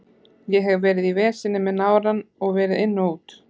Ég hef verið í veseni með nárann og verið inn og út.